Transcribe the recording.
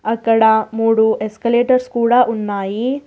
అక్కడ మూడు ఎస్కలేటర్స్ కూడా ఉన్నాయి.